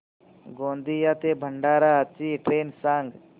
गोंदिया ते भंडारा ची ट्रेन सांग